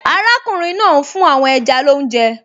Arákùnrin náà ń fún àwọn ẹja lóúnjẹ